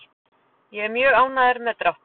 Ég er mjög ánægður með dráttinn.